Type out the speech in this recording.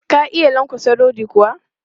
Ka iya lankwatsa rodi kuwa?